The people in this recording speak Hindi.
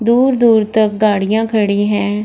दूर-दूर तक गाड़ियां खड़ी है।